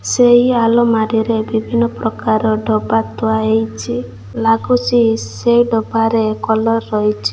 ସେଇ ଆଲମାରୀରେ ବିଭିନ୍ନ ପ୍ରକାର ଡବା ଥୁଆ ହେଇଚି। ଲାଗୁଚି ସେ ଡବାରେ କଲର୍ ରହିଛି।